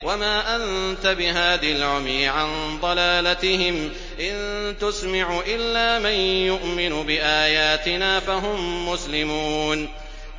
وَمَا أَنتَ بِهَادِ الْعُمْيِ عَن ضَلَالَتِهِمْ ۖ إِن تُسْمِعُ إِلَّا مَن يُؤْمِنُ بِآيَاتِنَا فَهُم مُّسْلِمُونَ